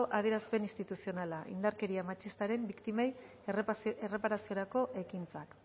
adierazpen instituzionala indarkeria matxistaren biktimei erraparaziorako ekintzak